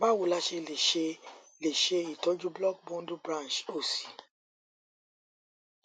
bawo la se le se le se itoju block bundle branch osi